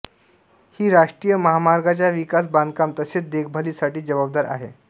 ही राष्ट्रीय महामार्गांच्या विकास बांधकाम तसेच देखभालीसाठी जबाबदार आहे